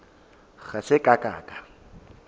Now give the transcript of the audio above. ga se ka ka ka